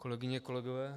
Kolegyně, kolegové.